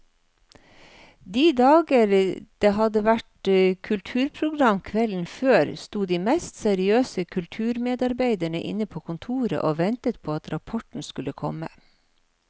De dager det hadde vært kulturprogram kvelden før, sto de mest seriøse kulturmedarbeidere inne på kontoret og ventet på at rapporten skulle komme.